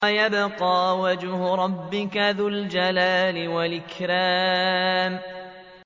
وَيَبْقَىٰ وَجْهُ رَبِّكَ ذُو الْجَلَالِ وَالْإِكْرَامِ